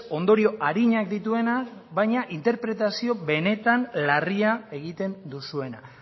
ondorio arinak dituena baina interpretazio benetan larria egiten duzuena